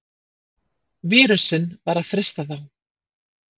Vírusinn var að frysta þá!